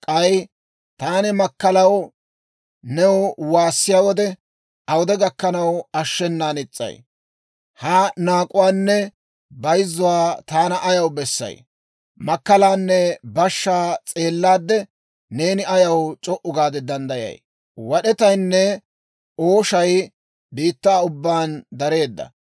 Ha naak'uwaanne bayzzuwaa taana ayaw bessay? Makkalaanne bashshaa s'eellaadde neeni ayaw c'o"u gaade danddayay? Wad'etaynne ooshay biittaa ubbaan dareedda.